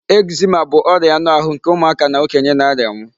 Eczema bụ ọria anụ ahụ nke ụmụaka na okenye na-arianwu.